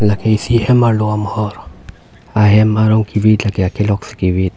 lake isi hem arlo amohor ahem arong kivit lake akelok si kivit.